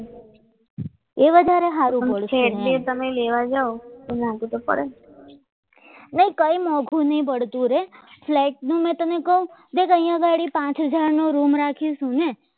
એ વધારે સારો પડશે તે ફ્લેટ તમે લેવા જાવ એના નામું તો પડે ને કઈ મૂકવું નહીં પડતું રે ફ્લેટ મેં તમને પાચ હજાર નો રોમ રાખીશું ને